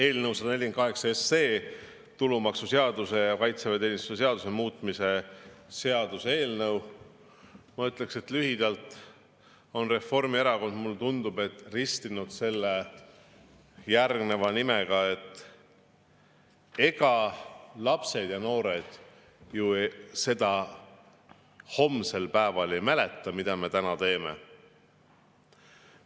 Eelnõu 148, tulumaksuseaduse ja kaitseväeteenistuse seaduse muutmise seaduse eelnõu, on Reformierakond, mulle tundub, lühidalt ristinud järgmise nimega: ega lapsed ja noored ju seda homsel päeval ei mäleta, mida me täna teeme.